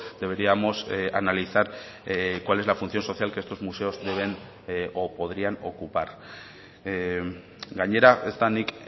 deberíamos analizar cuál es la función social que estos museos deben o podrían ocupar gainera ez da nik